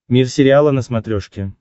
мир сериала на смотрешке